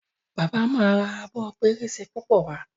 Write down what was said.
bàbá má rà Abọ́ pẹrẹsẹ púpọ wá.